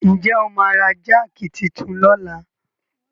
Ǹ jẹ́ o máa ra jáàkì titun lọ́la?